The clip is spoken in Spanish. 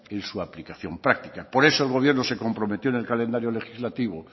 en su aplicación práctica por eso el gobierno se comprometió en el calendario legislativo